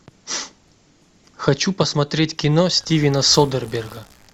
хочу посмотреть кино стивена содерберга